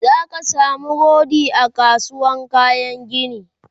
zaka samu rodi a kasuwar kayan gini